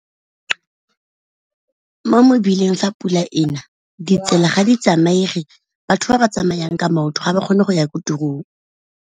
Mo mebileng fa pula e na ditsela ga di tsamaege, batho ba ba tsamayang ka maoto ga ba kgone go ya ko tirong.